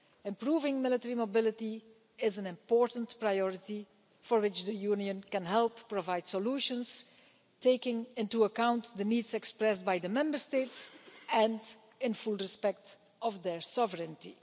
Improving military mobility is an important priority for which the Union can help provide solutions, taking into account the needs expressed by the Member States and in full respect of their sovereignty.